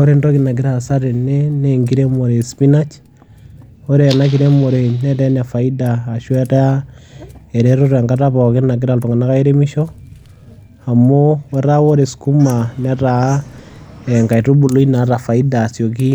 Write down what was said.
Ore entoki nagira aasa tene naa enkiremore e spinach, ore ena kiremore netaa ene faida ashu etaa eretoto enkata pookin nagira iltung'anak airemisho amu etaa ore skuma netaa enkaitubului naata faida asioki